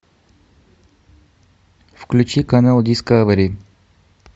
включи канал дискавери